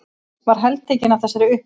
Var heltekin af þessari upplifun.